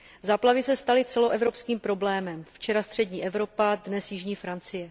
Záplavy se staly celoevropským problémem, včera střední Evropa, dnes jižní Francie.